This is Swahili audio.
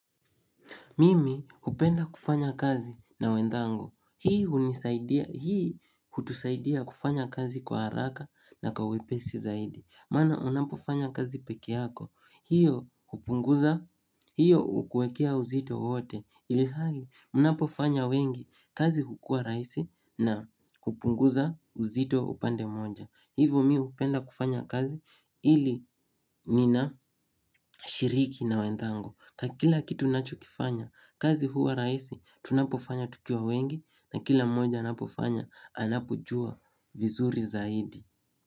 Mimi upenda kufanya kazi na wenzangu. Hii hutusaidia kufanya kazi kwa haraka na kwa wepesi zaidi. Maana unapofanya kazi pekee yako. Hiyo upunguza, hiyo ukuwekea uzito wote. Ilhali mnapofanya wengi kazi hukua rahisi na upunguza uzito upande moja. Hivo mii upenda kufanya kazi ili ninashiriki na wenzangu. Ka kila kitu ninacho kifanya, kazi huwa rahisi, tunapofanya tukiwa wengi na kila mmoja anapofanya, anapojua vizuri zaidi.